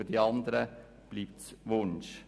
Für die anderen bleibt es ein Wunsch.